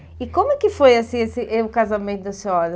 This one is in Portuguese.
E como é que foi assim esse e o casamento da senhora?